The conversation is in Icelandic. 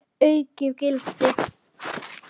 Það gæfi henni aukið gildi.